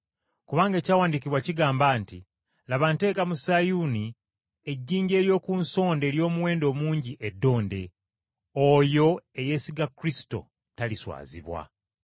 Kubanga ekyawandiikibwa kigamba nti, “Laba, nteeka mu Sayuuni, ejjinja ery’oku nsonda ery’omuwendo omungi eddonde, oyo eyeesiga Kristo, taliswazibwa.”